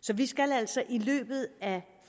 så vi skal altså i løbet af